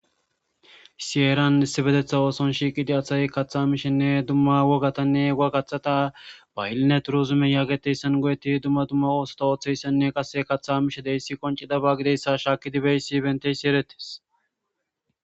Issi heeran issipetetan ooso asay shiiqidii kaththa mishenne dumma wogganne woggaththata bahilina turizime go'ettidi dumma dumma oosotta ooththizayssamne qase kaththa mizaysa qonccidaba gididays shshkidi beyiyos erettis